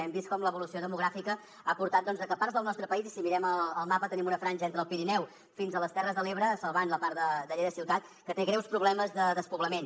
hem vist com l’evolució demogràfica ha portat a que parts del nostre país i si mirem el mapa tenim una franja entre el pirineu fins a les terres de l’ebre salvant la part de lleida ciutat que té greus problemes de despoblament